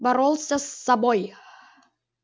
боролся с собой